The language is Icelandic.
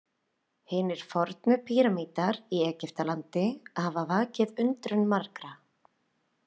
Hinir fornu píramídar í Egyptalandi hafa vakið undrun margra.